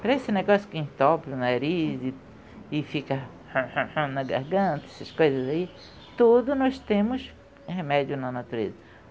Para esse negócio que entope o nariz e e fica na garganta, essas coisas aí, tudo nós temos remédio na natureza.